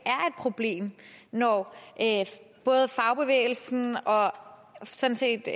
problem når både fagbevægelsen og sådan set